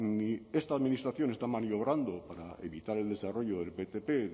ni esta administración esta maniobrando para evitar el desarrollo del ptp